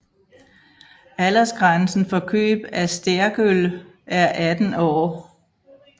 Aldersgrænsen for køb af sterkøl er 18 år